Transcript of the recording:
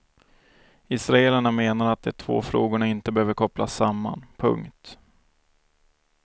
Israelerna menar att det två frågorna inte behöver kopplas samman. punkt